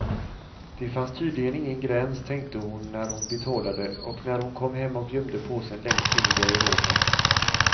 Det fanns tydligen ingen gräns, tänkte hon när hon betalade och när hon kom hem och gömde påsen längst in i garderoben.